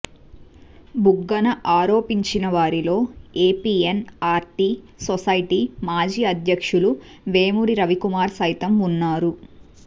బుగ్గన ఆరోపించిన వారిలో APNRT society మాజీ అధ్యక్షులు వేమూరు రవికుమార్ సైతం ఉన్నారు